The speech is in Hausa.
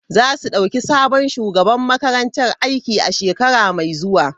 Za su dauki sabon shugaban makaranta aiki a shekara mai zuwa.